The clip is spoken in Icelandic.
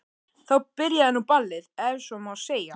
Þá byrjaði nú ballið ef svo má segja.